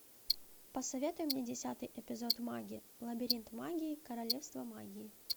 посоветуй мне десятый эпизод маги лабиринт магии королевство магии